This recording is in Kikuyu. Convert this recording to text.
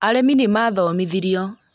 Arĩmi nĩ mathomithirio